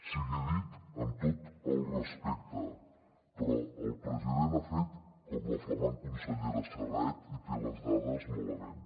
sigui dit amb tot el respecte però el president ha fet com la flamant consellera serret i té les dades malament